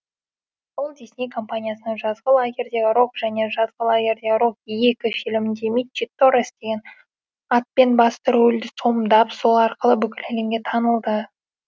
ол дисней компаниясының жазғы лагерьдегі рок және жазғы лагерьдегі рок екі фильмінде митчи торрес деген атпен басты рөлді сомдап сол арқылы бүкіл әлемге танылды